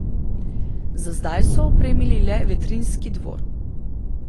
Za zdaj so opremili le Vetrinjski dvor.